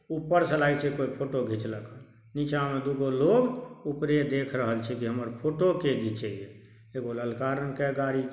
ऊपर से लागे छै कोय फोटो घिचलकन नीचा मे दुगो लोग ओकरे देख रहल छै जे हमर फोटो के घिचे ये एगो ललका रंग के गाड़ी ---